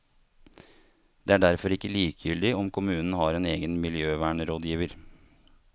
Det er derfor ikke likegyldig om kommunen har en egen miljøvernrådgiver.